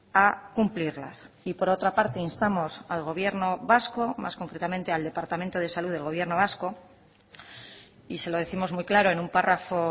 a cumplirlas y por otra parte instamos al gobierno vasco más concretamente al departamento de salud del gobierno vasco y se lo décimos muy claro en un párrafo